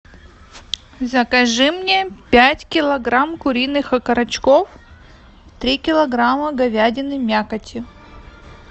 закажи мне пять килограмм куриных окорочков три килограмма говядины мякоти